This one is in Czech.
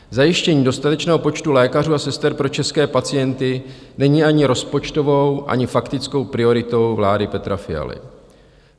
Zajištění dostatečného počtu lékařů a sester pro české pacienty není ani rozpočtovou, ani faktickou prioritou vlády Petra Fialy.